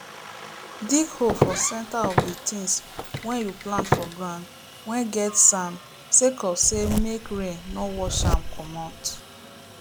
dig hole for centre of the things whey you plant for ground whey get sand sake of say make rain no wash am comot